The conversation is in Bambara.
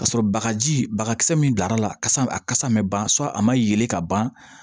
Ka sɔrɔ bagaji bagas min dar'a la kasa a kasa man ban a ma yelen ka ban